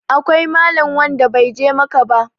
akwai Malam wnada bai je Makka ba